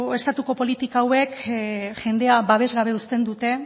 estatuko politika hauek jendea babes gabe uzten dute